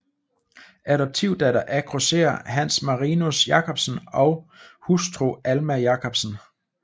Adoptivdatter af grosserer Hans Marinus Jacobsen og hustru Alma Jacobsen